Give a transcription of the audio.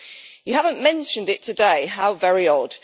You haven't mentioned it today how very odd.